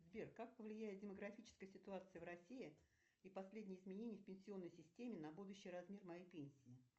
сбер как повлияет демографическая ситуация в россии и последние изменения в пенсионной системе на будущий размер моей пенсии